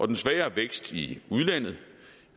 den svagere vækst i